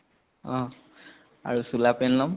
অহ । আৰু চোলা পেন লম।